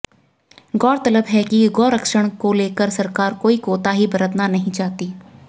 गौरतलब है कि गोसंरक्षण को लेकर सरकार कोई कोताही बरतना नहीं चाहती